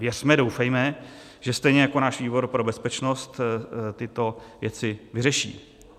Věřme, doufejme, že stejně jako náš výbor pro bezpečnost tyto věci vyřeší.